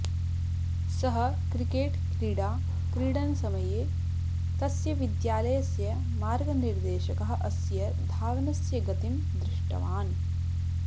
सः क्रिकेट् क्रीडा क्रीडनसमये तस्य विद्यालयस्य मार्गनिर्देशकः अस्य धावनस्य गतिं दृष्टवान्